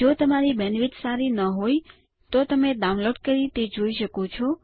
જો તમારી બેન્ડવિડ્થ સારી નહિં હોય તો તમે ડાઉનલોડ કરી તે જોઈ શકો છો